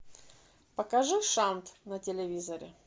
покажи шант на телевизоре